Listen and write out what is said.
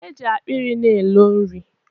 Eji akpịrị na elo nri.